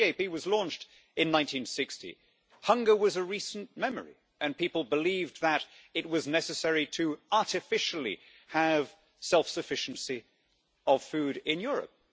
When the CAP was launched in 1960, hunger was a recent memory and people believed that it was necessary to artificially have self sufficiency of food in Europe.